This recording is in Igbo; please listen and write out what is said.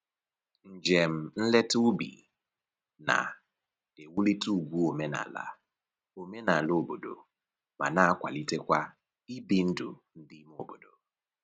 Njem nleta ubi na-ewulite ugwu omenala omenala obodo ma na-akwalitekwa ibi ndụ ndị ime obodo